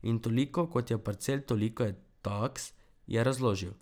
In toliko, kot je parcel, toliko je taks, je razložil.